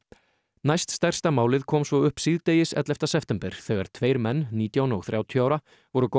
næststærsta málið kom svo upp síðdegis ellefta september þegar tveir menn nítján og þrjátíu ára voru